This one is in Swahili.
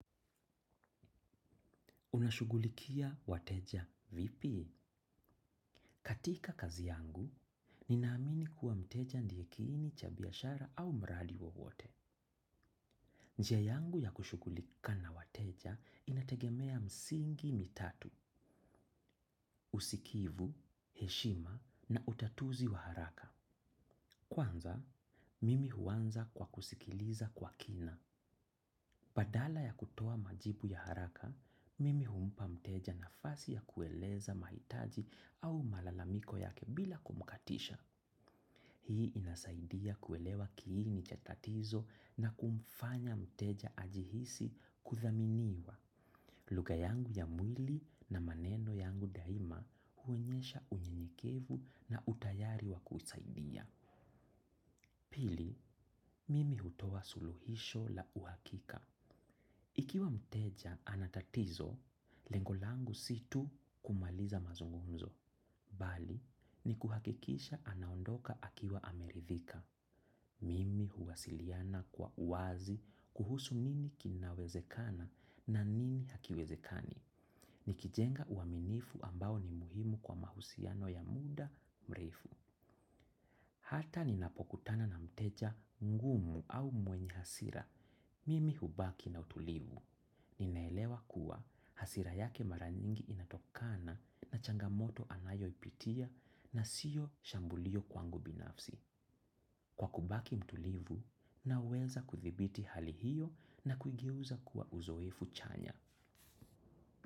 Unashugulikia wateja vipi? Katika kazi yangu, ninaamini kuwa mteja ndiye kini chabiashara au mradi wowote. Njia yangu ya kushugulika na wateja inategemea msingi mitatu, usikivu, heshima na utatuzi wa haraka. Kwanza, mimi huanza kwa kusikiliza kwa kina. Padala ya kutoa majibu ya haraka, mimi humpa mteja na fasi ya kueleza maitaji au malalamiko yake bila kumukatisha. Hii inasaidia kuelewa kiini chatatizo na kumfanye mteja ajihisi kuthaminiwa. Luga yangu ya mwili na maneno yangu daima huonyesha unyenyekevu na utayari wa kusaidia. Pili, mimi hutowa suluhisho la uhakika. Ikiwa mteja anatatizo, lengolangu situ kumaliza mazungumzo. Bali, ni kuhakikisha anaondoka akiwa amerithika. Mimi huwasiliana kwa uwazi kuhusu nini kinawezekana na nini hakiwezekani. Ni kijenga uaminifu ambao ni muhimu kwa mahusiano ya muda mreifu. Hata ninapokutana na mteja ngumu au mwenye hasira, mimi hubaki na utulivu. Ninaelewa kuwa hasira yake mara nyingi inatokana na changamoto anayo ipitia na siyo shambulio kwangu binafsi. Kwa kubaki mtulivu, naweza kuthibiti hali hiyo na kuigeuza kuwa uzoefu chanya.